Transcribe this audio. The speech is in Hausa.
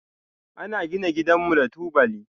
Ana gina gidanmu da tubali.